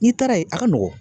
N'i taara yen a ka nɔgɔn